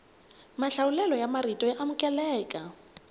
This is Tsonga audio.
mahlawulelo ya marito ya amukeleka